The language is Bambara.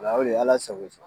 Wa o de ye ala sago, i sago.